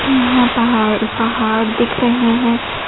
हमें यहां पहाड़ पहाड़ दिख रहे हैं।